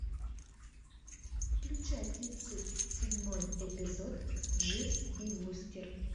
включай тридцать седьмой эпизод дживс и вустер